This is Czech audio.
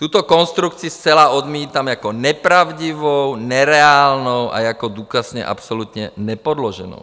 Tuto konstrukci zcela odmítám jako nepravdivou, nereálnou a jako důkazně absolutně nepodloženou.